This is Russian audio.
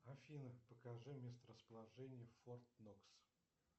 афина покажи месторасположение форт нокс